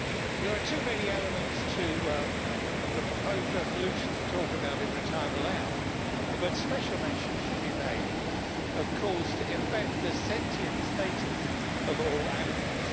There are too many elements of the proposed resolution to talk about in the time allowed, but special mention should be made of calls to embed the sentient status of all animals